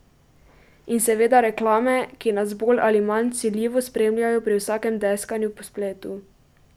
In seveda reklame, ki nas bolj ali manj vsiljivo spremljajo pri vsakem deskanju po spletu.